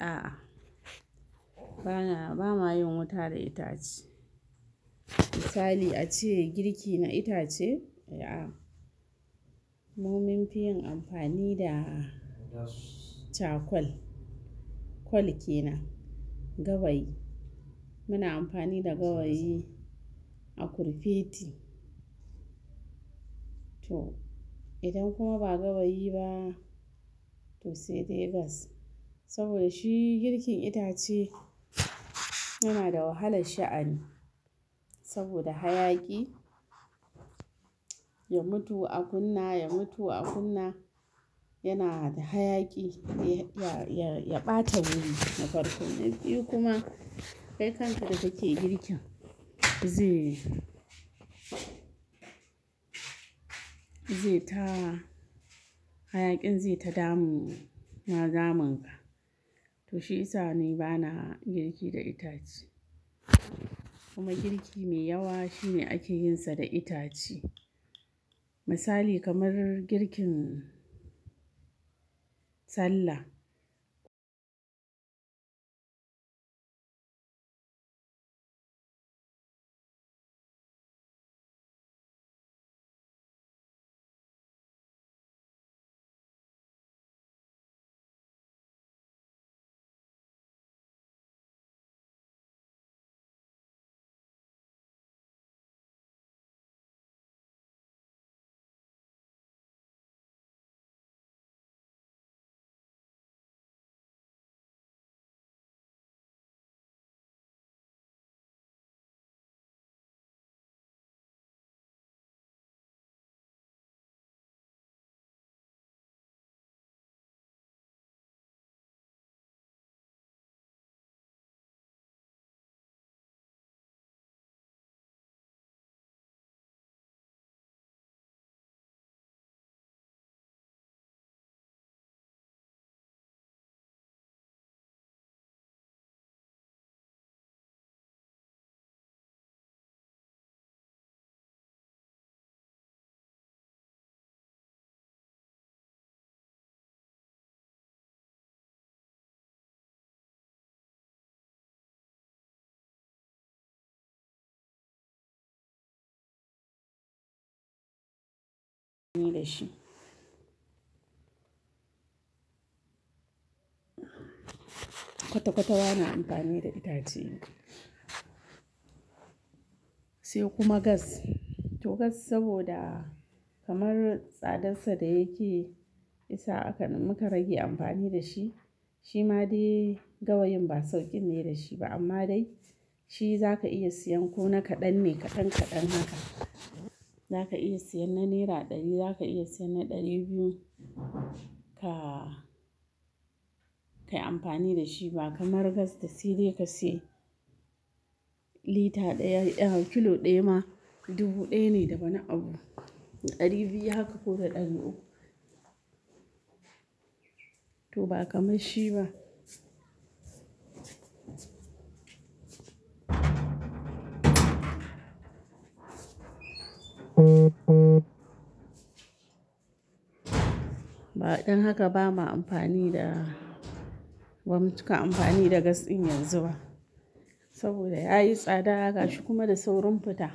A'a, bana bama yin wuta da itace. Misali ace girki na itace, a'a. Mu munfiyin amfani da charcoal. Kwal kenan, gawayi. Muna amfani da gawayi a kurfeti. To, idan kuma ba gawayi ba, to sai dai gas. Saboda shi girkin itace yana da wahalar sha'ani. Saboda hayaki, ya mutu a kunna, ya mutu a kunna. Yana da hayaki ya, ya, ya ɓata wuri na farko. Na biyu kuma kai kanka da kake girki ze, ze ta-- hayakin ze ta damu, ma damun ka. To shi isa ne bana girki da itace. Kuma girki mai yawa shine ake yin sa da itace. Misali kamar girkin sallah. Amfani da shi. Kwata-kwata ba na amfani da itace. Sai kuma gas. To gas saboda kamar tsadarsa da yake yasa aka, muka rage amfani dashi. Shi ma dai gawayin ba sauƙin ne da shi ba. Amma dai shi za ka iya siyan ko naka ɗan ne kaɗan kaɗan haka. Za ka iya siyan na naira ɗari, za ka iya siyan na ɗari biyu. Ka, ka yi amfani da shi ba. Kamar gas da sai dai ka sayi lita ɗaya, kilo ɗaya ma dubu ɗaya ne da wani abu. Ɗari biyu haka ko da ɗari uku. To ba kamar shi ba. Dan haka ba ma amfani da, ba mu cika amfani da gas ɗin yanzu ba. Saboda yayi tsada gashi kuma da saurin fita.